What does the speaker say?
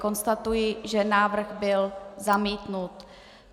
Konstatuji, že návrh byl zamítnut.